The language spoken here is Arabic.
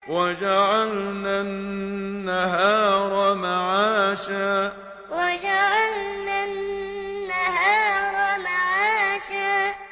وَجَعَلْنَا النَّهَارَ مَعَاشًا وَجَعَلْنَا النَّهَارَ مَعَاشًا